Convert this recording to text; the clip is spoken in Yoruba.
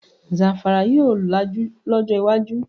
Zamfara yóò lajú lọjọ iwájú